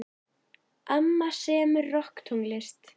Amma semur rokktónlist.